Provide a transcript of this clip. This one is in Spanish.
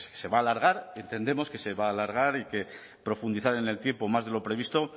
se va a alargar entendemos que se va a alargar y que profundizar en el tiempo más de lo previsto